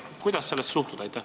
Kuidas sellesse suhtuda?